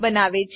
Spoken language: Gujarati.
બનાવે છે